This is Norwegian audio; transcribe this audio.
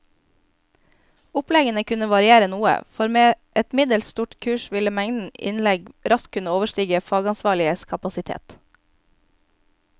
Oppleggene kunne variere noe, for med et middels stort kurs ville mengden innlegg raskt kunne overstige fagansvarliges kapasitet.